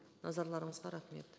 назарларыңызға рахмет